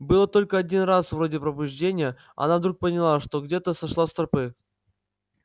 было только один раз вроде пробуждения она вдруг поняла что где-то сошла с тропы